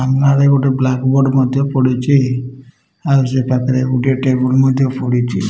ସାମ୍ନାରେ ଗୋଟେ ବ୍ଲାକବୋର୍ଡ ମଧ୍ଯ ପଡିଚି ଆଉ ସେ ପାଖରେ ଗୋଟେ ଟେବୁଲ ମଧ୍ଯ ପଡିଚି ।